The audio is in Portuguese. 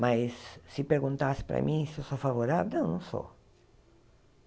Mas se perguntasse para mim se eu sou favorável, não, não sou.